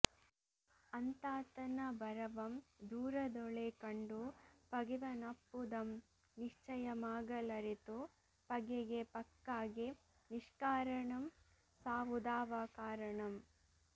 ಅಂತಾತನ ಬರವಂ ದೂರದೂಳೆ ಕಂಡು ಪಗೆವನಪ್ಪುದಂ ನಿಶ್ಚಯಮಾಗಲಱೆತು ಪಗೆಗೆ ಪಕ್ಕಾಗೆ ನಿಷ್ಕಾರಣಂ ಸಾವುದಾವ ಕಾರಣಂ